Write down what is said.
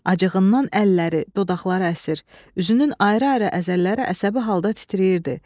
Acığından əlləri, dodaqları əsir, üzünün ayrı-ayrı əzəlləri əsəbi halda titrəyirdi.